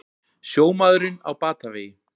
Sjómaðurinn á batavegi